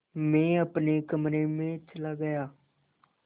मैं अपने कमरे में चला गया